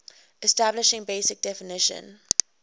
establishing basic definition